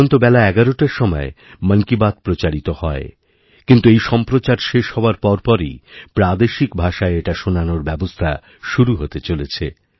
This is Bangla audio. এখন তো বেলাএগারোটার সময় মন কি বাত প্রচারিত হয় কিন্তু এই সম্প্রচার শেষ হওয়ার পর পরইপ্রাদেশিক ভাষায় এটা শোনানোর ব্যবস্থা শুরু হতে চলেছে